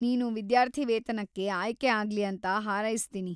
ನೀನು ವಿದ್ಯಾರ್ಥಿ ವೇತನಕ್ಕೆ ಆಯ್ಕೆ ಆಗ್ಲಿ ಅಂತ ಹಾರೈಸ್ತೀನಿ.